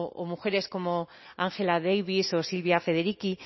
o mujeres como ángela davis o silvia federici